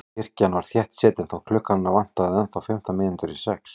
Kirkjan var þéttsetin þótt klukkuna vantaði ennþá fimmtán mínútur í sex.